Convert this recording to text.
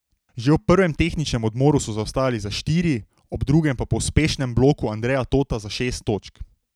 Že ob prvem tehničnem odmoru so zaostajali za štiri, ob drugem pa po uspešnem bloku Andreja Tota za šest točk.